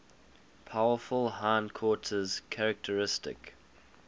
powerful hindquarters characteristic